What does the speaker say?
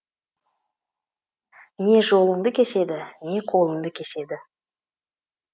не жолыңды кеседі не қолыңды кеседі